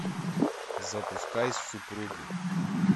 запускай супруги